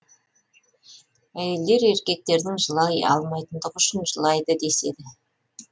әйелдер еркектердің жылай алмайтындығы үшін жылайды деседі